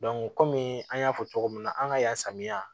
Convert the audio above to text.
kɔmi an y'a fɔ cogo min na an ka yan samiya